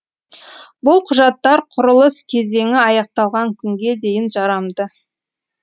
бұл құжаттар құрылыс кезеңі аяқталған күнге дейін жарамды